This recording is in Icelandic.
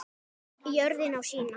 Jörðin á sína.